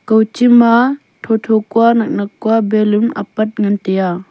kawchi ma thotho kuanaknak kua balloon apat ngan taiya.